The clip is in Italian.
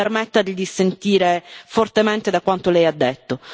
Quindi, mi permetta di dissentire fortemente da quanto Lei ha detto.